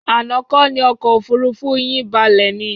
Àná kọ́ ni ọkọ̀ òfuurufú yín balẹ̀ ni?